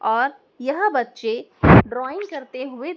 और यह बच्चे ड्रॉइंग करते हुए--